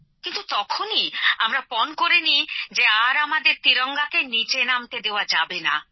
কিন্তু তখনই আমরা পণ করে নিই যে আর আমাদের ত্রিবর্ণ রঞ্জিত পতাকাকে নিচে নামতে দেওয়া যাবে না